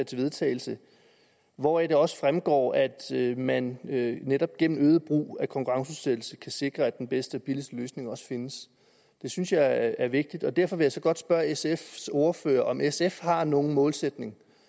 til vedtagelse hvoraf det også fremgår at man netop gennem øget brug af konkurrenceudsættelse kan sikre at den bedste og billigste løsning findes det synes jeg er vigtigt og derfor vil jeg så godt spørge sfs ordfører om sf har nogen målsætning